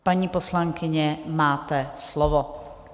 Paní poslankyně, máte slovo.